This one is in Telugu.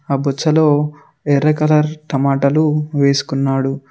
ఆ బొచ్చలో ఎర్ర కలర్ టమాటాలు వేసుకున్నాడు.